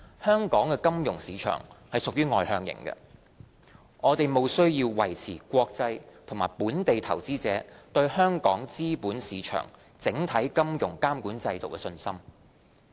香港金融市場屬外向型，我們務須維持國際和本地投資者對香港資本市場整體金融監管制度的信心。